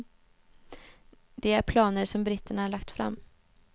Det är planer som britterna lagt fram.